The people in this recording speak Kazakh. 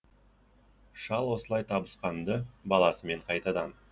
шал осылай табысқан ды баласымен қайтадан